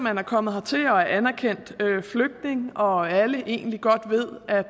er kommet hertil og er anerkendte flygtninge og alle egentlig godt ved at